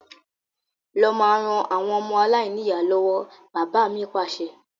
Lọ máa ràn àwọn ọmọ aláìníya lọ́wọ́! Bàbá mi Pàṣẹ.